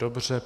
Dobře.